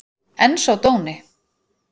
En sá dóni!